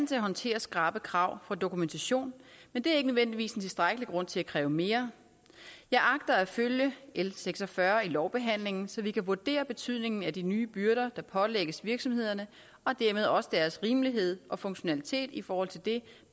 til at håndtere skrappe krav om dokumentation men det er ikke nødvendigvis en tilstrækkelig grund til at kræve mere jeg agter at følge l seks og fyrre i lovbehandlingen så vi kan vurdere betydningen af de nye byrder der pålægges virksomhederne og dermed også deres rimelighed og funktionalitet i forhold til det